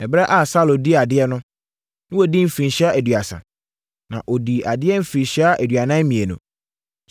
Ɛberɛ a Saulo dii adeɛ no, na wadi mfirinhyia aduasa. Na ɔdii adeɛ mfirinhyia aduanan mmienu.